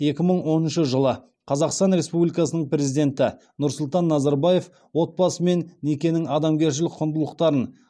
екі мың оныншы жылы қазақстан республикасының президенті нұрсұлтан назарбаев отбасы мен некенің адамгершілік құндылықтарын